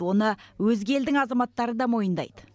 оны өзге елдің азаматтары да мойындайды